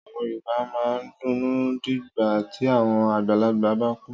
Àwọn Yorùbá máa ń dunnú nígbà tí àwọn àgbàlagbà bá kú.